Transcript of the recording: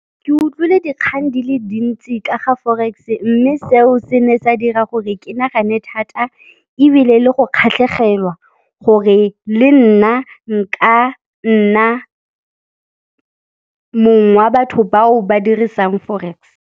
Ke utlwile dikgang di le dintsi ka ga forex mme seo se ne sa dira gore ke nagane thata ebile le go kgatlhegelwa gore le nna nka nna mong wa batho bao ba dirisang forex.